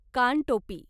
कानटोपी